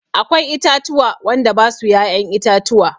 Akwai itatuwa wanda basu ya'yan itatuwa.